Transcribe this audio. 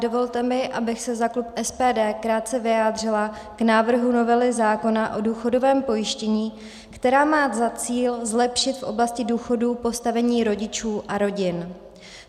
Dovolte mi, abych se za klub SPD krátce vyjádřila k návrhu novely zákona o důchodovém pojištění, která má za cíl zlepšit v oblasti důchodů postavení rodičů a rodin.